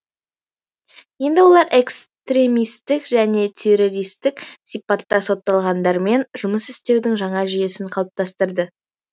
енді олар экстремистік және террористік сипатта сотталғандармен жұмыс істеудің жаңа жүйесін қалыптастырды